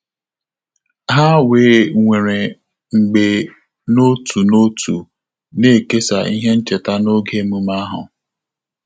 Há wee nwere mgbe n’òtù n’òtù nà-èkèsá ihe ncheta n’ógè ememe ahụ.